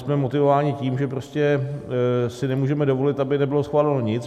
Jsme motivováni tím, že si prostě nemůžeme dovolit, aby nebylo schváleno nic.